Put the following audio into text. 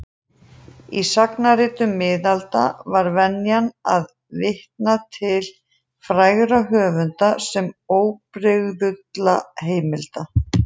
Í sagnaritum miðalda var venjan að vitna til frægra höfunda sem óbrigðulla heimilda.